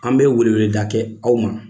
An bɛ welewele da kɛ aw ma